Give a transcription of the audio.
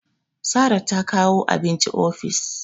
Sara ta kawo abinci ofis